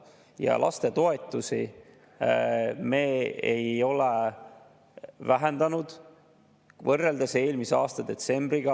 Ja toetusi me ei ole vähendanud võrreldes eelmise aasta detsembriga.